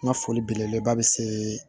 N ka foli belebeleba bɛ se